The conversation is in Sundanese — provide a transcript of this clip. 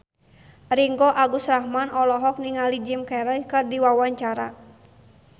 Ringgo Agus Rahman olohok ningali Jim Carey keur diwawancara